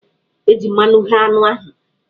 E ji mmanụ ghé anụ ahụ.